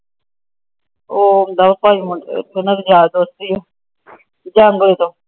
ਤਿੰਨੇ ਯਾਰ ਦੋਸਤ ਏ ਐ। ਜੰਗਰੇ ਤੋਂ। ਅੱਛਾ। ਸਾਡਾ ਪਿੰਡ ਬੜਾ ਵੱਡਾ ਏ। ਓਹੀ ਤਾਂ ਕਹਿਣ ਰਹੀ ਆ।